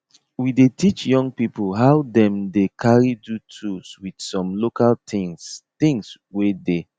we dey teach young people how them dey carry do tools with some local things things wey dey